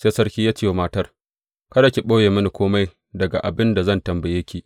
Sai sarki ya ce wa matar, Kada ki ɓoye mini kome daga abin da zan tambaye ki.